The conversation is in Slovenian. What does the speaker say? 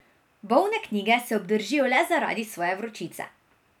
Bolne knjige se obdržijo le zaradi svoje vročice.